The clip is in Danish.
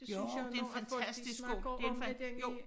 Det synes jeg jo nu at folk de snakker om det den i